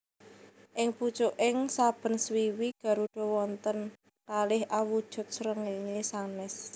Ing pucuking saben swiwi garuda wonten kalih awujud srengéngé sanès